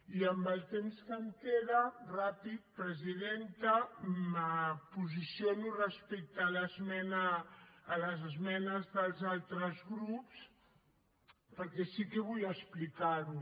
i amb el temps que em queda ràpid presidenta em posiciono respecte a les esmenes dels altres grups perquè sí que vull explicar ho